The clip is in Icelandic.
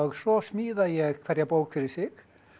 svo smíða ég hverja bók fyrir sig